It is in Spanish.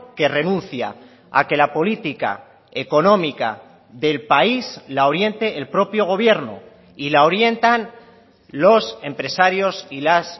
que renuncia a que la política económica del país la oriente el propio gobierno y la orientan los empresarios y las